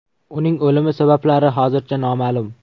Uning o‘limi sabablari hozircha noma’lum.